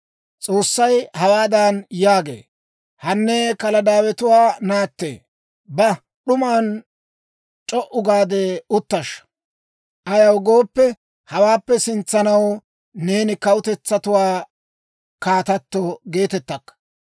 S'oossay hawaadan yaagee; «Hanne Kaladaawetuwaa naatte, ba; d'uman c'o"u gaade uttashsha. Ayaw gooppe, hawaappe sintsaw neeni kawutetsatuwaa kaatato geetettakka.